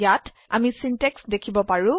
এতিয়া আমি সিনট্যাক্স দেখিব পাৰো